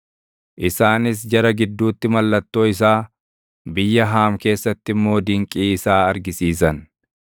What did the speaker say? Isaanis jara gidduutti mallattoo isaa, biyya Haam keessatti immoo dinqii isaa argisiisan.